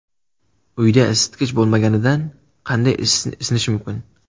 Uyda isitgich bo‘lmaganida qanday isinish mumkin?.